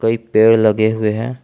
कई पेड़ लगे हुए हैं।